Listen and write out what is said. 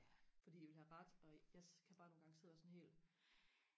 fordi de vil have ret og jeg kan nogle gange sidde sådan helt